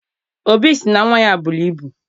Obi sị na nnwa ya buru ibu